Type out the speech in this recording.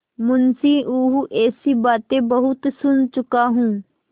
मुंशीऊँह ऐसी बातें बहुत सुन चुका हूँ